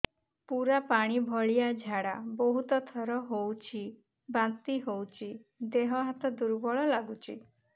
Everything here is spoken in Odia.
ପୁରା ପାଣି ଭଳିଆ ଝାଡା ବହୁତ ଥର ହଉଛି ବାନ୍ତି ହଉଚି ଦେହ ହାତ ଦୁର୍ବଳ ଲାଗୁଚି